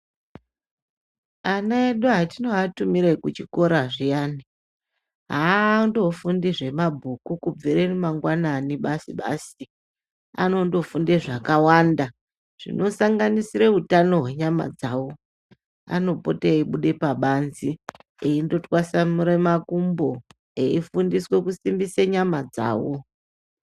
Ana edu hetinoatumire kuchikora zviyani haandofundi zvemabhuku basi kundobvire mangwanani Basi basi, anondofunde zvakawanda zvinosanganisira utano hwenyama dzavo. Anopote eyibude pabanze eyindotwasamure makumbo, eyifundiswa kusimbisa nyama dzavo.